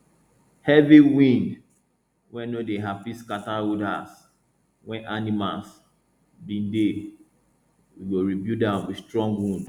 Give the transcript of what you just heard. heavy wind wey no dey happy scatter old house wey animals bin dey we go rebuild am with strong wood